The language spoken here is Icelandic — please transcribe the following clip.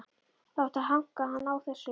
Það átti að hanka hann á þessu.